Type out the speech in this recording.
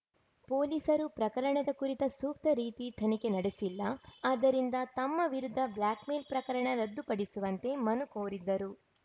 ಪೊಲೀಸರು ಪ್ರಕರಣದ ಕುರಿತ ಸೂಕ್ತ ರೀತಿ ತನಿಖೆ ನಡೆಸಿಲ್ಲ ಆದ್ದರಿಂದ ತಮ್ಮ ವಿರುದ್ಧ ಬ್ಲಾಕ್‌ಮೇಲ್‌ ಪ್ರಕರಣ ರದ್ದುಪಡಿಸುವಂತೆ ಮನು ಕೋರಿದ್ದರು